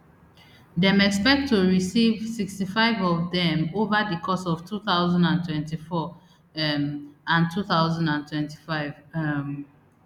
dem expect to receive sixty-five of dem ova di course of two thousand and twenty-four um and two thousand and twenty-five um